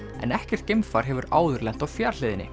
en ekkert geimfar hefur áður lent á